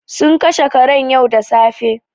Sun kashe karen yau da safe.